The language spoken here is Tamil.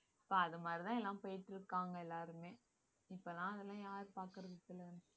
இப்ப அது மாதிரிதான் எல்லாம் போயிட்டு இருக்காங்க எல்லாருமே இப்பல்லாம் அதெல்லாம் யார் பாக்கறது சொல்லுங்க